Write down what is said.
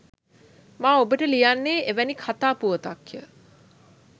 මා ඔබට ලියන්නේ එවැනි කතා පුවතක්ය